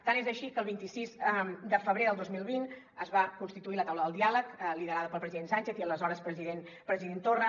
tant és així que el vint sis de febrer del dos mil vint es va constituir la taula del diàleg liderada pel president sánchez i l’aleshores president torra